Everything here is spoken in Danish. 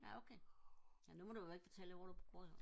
nå okay nå nu må du jo ikke fortælle hvor du bor